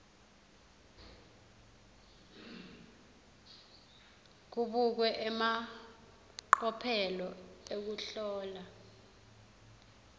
kubukwe emacophelo ekuhlola